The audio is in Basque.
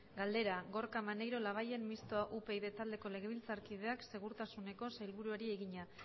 galdera gorka maneiro labayen mistoa upyd taldeko legebiltzarkideak segurtasuneko sailburuari egina